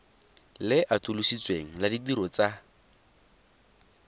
le atolositsweng la ditiro tsa